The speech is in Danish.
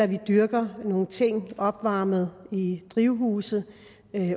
vi dyrker nogle ting i opvarmede drivhuse